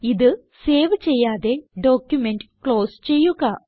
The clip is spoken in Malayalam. ഇത് സേവ് ചെയ്യാതെ ഡോക്യുമെന്റ് ക്ലോസ് ചെയ്യുക